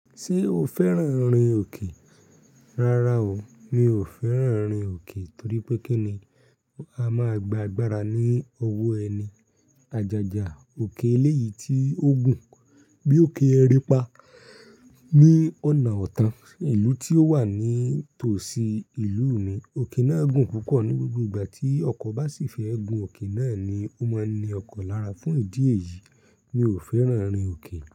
Ṣé o fẹ́ràn rin òkè? Rárá o, mi ò fẹ́ràn rin òkè torí pé kí ni a máa gba agbára ní owó ẹni? Àjájá òkè eléyìí tí ó gùn bí òkè Erínpá ní ọ̀nà ọ̀tán ìlú tí ó wà ní tòsí ìlú mi. Òkè náà gùn púpọ̀ ní gbogbo ìgbà tí ọkọ̀ bá sì fẹ́ gùn òkè náà ni ó máa ń ni ọkọ̀ lára. Fún ìdí èyí, mi ò fẹ́ràn rin òkè.